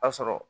A sɔrɔ